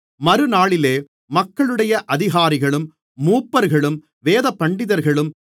மறுநாளிலே மக்களுடைய அதிகாரிகளும் மூப்பர்களும் வேதபண்டிதர்களும்